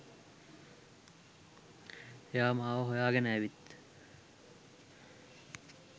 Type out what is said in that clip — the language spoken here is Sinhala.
එයා මාව හොයාගෙන ඇවිත්